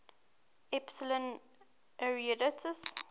epsilon arietids